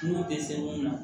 N'u tɛ fɛn mun na